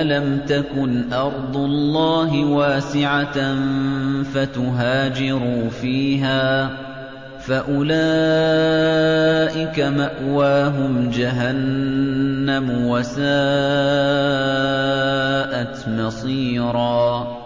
أَلَمْ تَكُنْ أَرْضُ اللَّهِ وَاسِعَةً فَتُهَاجِرُوا فِيهَا ۚ فَأُولَٰئِكَ مَأْوَاهُمْ جَهَنَّمُ ۖ وَسَاءَتْ مَصِيرًا